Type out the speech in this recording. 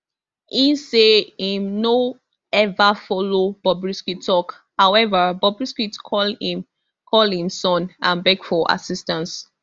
e say im no ever follow bobrisky tok however bobrisky call im call im son and beg for assistance